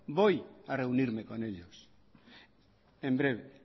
voy a reunirme con ellos en breve